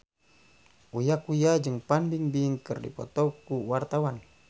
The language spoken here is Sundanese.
Uya Kuya jeung Fan Bingbing keur dipoto ku wartawan